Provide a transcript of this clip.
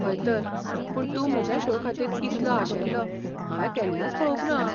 हय तर, पूण तूं म्हज्या शो खातीर इतलो आशेल्लो हांवें केन्नाच पळोवंक ना!